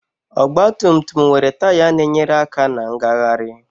Ọgbatumtum nwere taya na-enyere aka na ngagharị